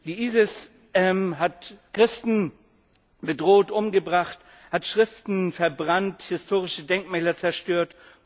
Der IS hat Christen bedroht, umgebracht, hat Schriften verbrannt, historische Denkmäler zerstört.